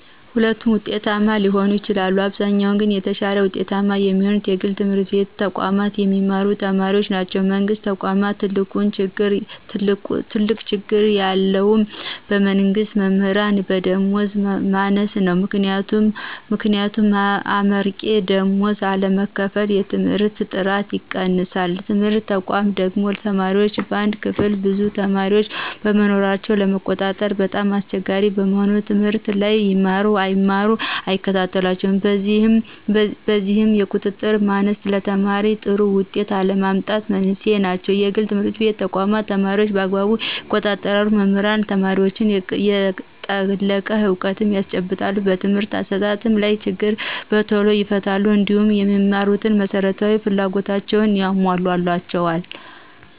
ሁለቱም ውጤታማ ሊሆኑ ይችላሉ። በአብዛኛው ግን የተሻለ ውጤታማ የሚሆኑት የግል ትምህርት ተቋማት የሚማሩ ተማሪዎች ናቸው። የመንግስት ተቆም ትልቁ ችግር የምለው የመንግስት መምህራን የደመወዝ ማነስ ነው። ምክንያቱም አመርቂ ደመወዝ አለመከፈል የትምህርትን ጥራት ይቀንሳል። የትምህርት ተቋማ ደግሞ ተማሪዎች በአንድ ክፍል ብዙ ተማሪዎችን በመኖራቸው ለመቆጣጠር በጣም አስቸጋሪ በመሆኑ ትምህርት ላይ ይማሩ አይማሩ አይከታተሏቸውም። በዚህም የቁጥጥር ማነስ ለተማሪዎይ ጥሩ ውጤት አለመምጣት መንስኤ ናቸው። የግል ትምህርት ተቋማት ተማሪዎችን በአግባቡ ይቆጣጠራሉ መምህራንም ለተማሪዎች የጠለቀ እውቀት ያስጨብጣሉ በትምህርት አሰጣጡ ላይ ችግር በቶሎ ይፈታሉ። እንዲሁም የሚማሩበት መሰረታዊ ፍላጎቶች ይሞላላቸዎል